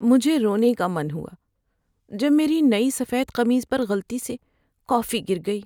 مجھے رونے کا من ہوا جب میری نئی سفید قمیص پر غلطی سے کافی گر گئی۔